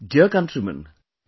Dear countrymen,